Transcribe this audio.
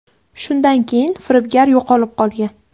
Shundan keyin firibgar yo‘qolib qolgan.